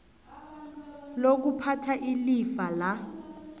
lokuphatha ilifa la